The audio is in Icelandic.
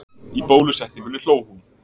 Í bólusetningunni hló hún.